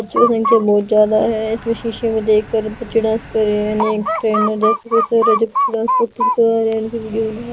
संख्या बहुत ज्यादा है इसमें शीशे में देखकर बच्चे डांस कर रहे हैं ।